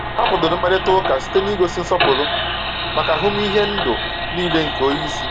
Ha kwadoro mkparịta ụka site n’ịgosi nsọpụrụ maka ahụmịhe ndụ niile nke onye isi.